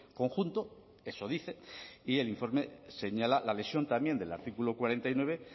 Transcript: conjunto eso dice y el informe señala la lesión también del artículo cuarenta y nueve